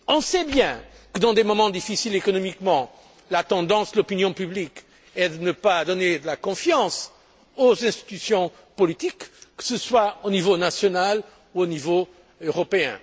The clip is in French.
On sait bien que, dans des moments difficiles économiquement, la tendance de l'opinion publique est de ne pas faire confiance aux institutions politiques, que ce soit au niveau national ou au niveau européen.